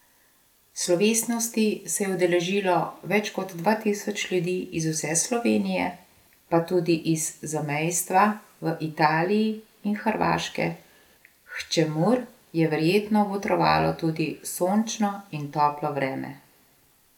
Slovesnosti se je udeležilo več kot dva tisoč ljudi iz vse Slovenije, pa tudi iz zamejstva v Italiji in Hrvaške, k čemur je verjetno botrovalo tudi sončno in toplo vreme.